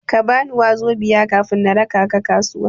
Kabani 'wazobia' kafin na raka ka kasuwa.